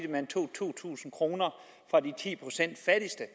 at man tog to tusind kroner fra de ti procent fattigste